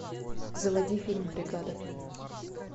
заводи фильм бригада